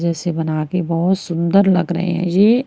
जैसे बना के बहोत सुंदर लग रहे हैं ये--